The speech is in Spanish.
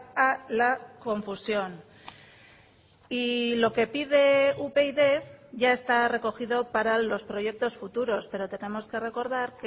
a la confusión y lo que pide upyd ya está recogido para los proyectos futuros pero tenemos que recordar